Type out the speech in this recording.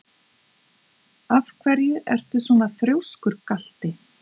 Af hverju ertu svona þrjóskur, Galti?